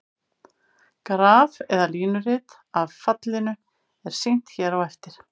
Graf eða línurit af fallinu er sýnt hér á eftir.